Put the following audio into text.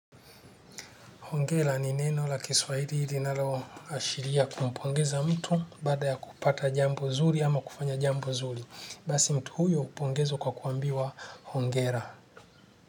Hongera ni neno la kiswahili linaloashiria kumpongeza mtu baada ya kupata jambo zuri ama kufanya jambo zuri. Basi mtu huyo hupongezwa kwa kuambiwa hongera.